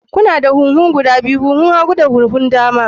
Kuna da huhu guda biyu, huhu na hagu da huhu na dama.